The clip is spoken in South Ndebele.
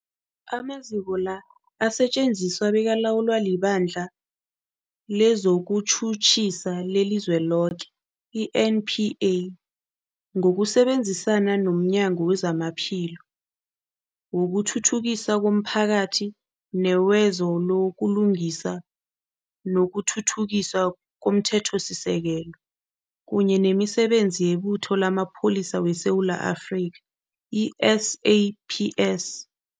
Amaziko la asetjenziswa bekalawulwa liBandla lezokuTjhutjhisa leliZweloke, i-NPA, ngokusebenzisana nomnyango wezamaPhilo, wokuthuthukiswa komphakathi newezo buLungiswa nokuThuthukiswa komThethosisekelo, kunye nemiSebenzi yeButho lamaPholisa weSewula Afrika, i-SAPS.